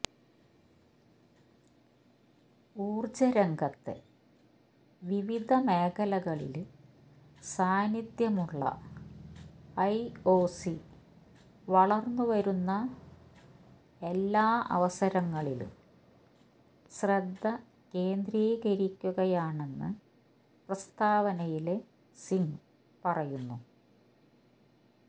ഊര്ജ്ജ രംഗത്തെ വിവിധ മേഖലകളില് സാന്നിധ്യമുള്ള ഐഒസി വളര്ന്നുവരുന്ന എല്ലാ അവസരങ്ങളിലും ശ്രദ്ധ കേന്ദ്രീകരിക്കുകയാണെന്ന് പ്രസ്താവനയില് സിംഗ് പറയുന്നു